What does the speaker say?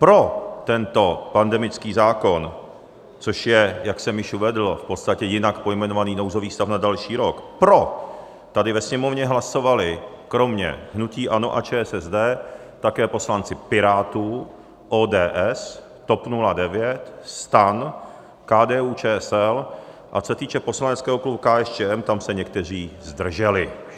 Pro tento pandemický zákon, což je, jak jsem již uvedl, v podstatě jinak pojmenovaný nouzový stav na další rok, pro tady ve Sněmovně hlasovali kromě hnutí ANO a ČSSD také poslanci Pirátů, ODS, TOP 09, STAN, KDU-ČSL, a co se týče poslaneckého klubu KSČM, tam se někteří zdrželi.